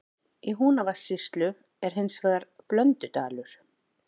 Í Húnavatnssýslu er hins vegar Blöndudalur.